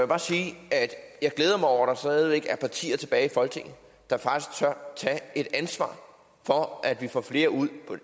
bare sige at jeg glæder mig over at der stadig væk er partier tilbage i folketinget der faktisk tør tage et ansvar for at vi får flere ud